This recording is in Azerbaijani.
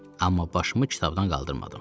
Amma başımı kitabdan qaldırmadım.